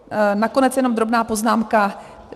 Nakonec jenom drobná poznámka.